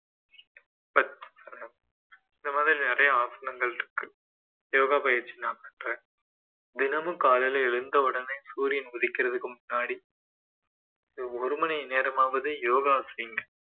இந்த மாதிரி நிறைய ஆசனங்கள் இருக்கு யோகா பயிற்சி நான் பண்றேன் தினமும் காலையிலே எழுந்தவுடனே சூரியன் உதிக்கிறதுக்கு முன்னாடி ஒரு மணி நேரமாவது யோகா செய்யுங்க